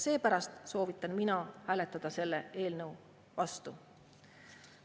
Seepärast soovitan mina hääletada selle eelnõu vastu.